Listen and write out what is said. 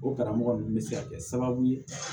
O karamɔgɔ ninnu bɛ se ka kɛ sababu ye